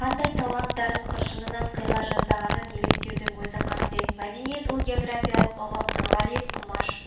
қандай талант дарын қыршынынан қиыла жаздағанын елестеудің өзі қасырет мәдениет ол географиалық ұғым нұрғалиев құмаш